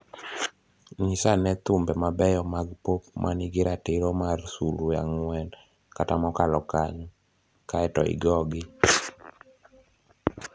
Nyisa ane thumbe mabeyo mag pop ma nigi ratiro mar sulwe ang'wen kata mokalo kanyo, kae to igogi